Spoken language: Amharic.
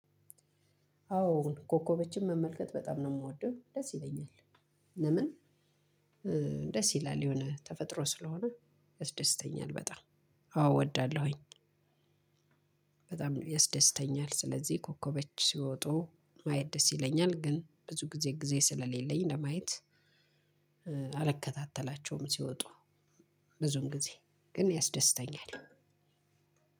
አዎ ኮከቦችን መመልከት በጣም ነው ምወደው ደስ ይለኛል። ለምን? ደስ ይላል የሆነ ተፈጥሮ ስለሆነ ያስደስተኛል በጣም። አዎ እወዳለሁኝ። በጣም ያስደስተኛል ስለዚህ ኮከቦች ሲወጡ ማየት ደስ ይለኛል። ግን ብዙ ጊዜ ጊዜ ስለሌለኝ ለማየት አልከታተላቸውም። ሲወጡ ብዙም ጊዜ ግን ያስደስተኛል።